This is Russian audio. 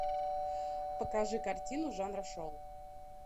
покажи картину жанра шоу